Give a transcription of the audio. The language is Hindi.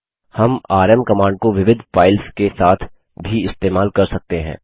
हम आरएम कमांड को विविध फाइल्स के साथ भी इस्तेमाल कर सकते हैं